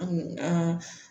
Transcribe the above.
An